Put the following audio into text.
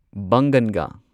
ꯕꯪꯒꯟꯒꯥ